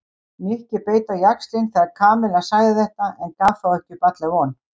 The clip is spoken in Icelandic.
Nikki beit á jaxlinn þegar Kamilla sagði þetta en gaf þó ekki upp alla von.